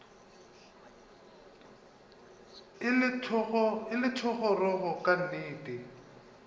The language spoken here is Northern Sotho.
e le thogorogo ka nnete